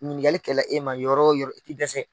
Ɲininkali kɛ la e ma yɔrɔ o yɔrɔ i ti dɛsɛ.